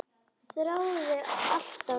Þráði alltaf annað.